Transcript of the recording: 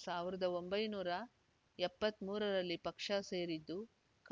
ಸಾವಿರದ ಒಂಬೈನೂರ ಎಪ್ಪತ್ತ್ ಮೂರರಲ್ಲಿ ಪಕ್ಷ ಸೇರಿದ್ದು